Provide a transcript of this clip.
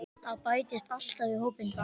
Það bætist alltaf í hópinn.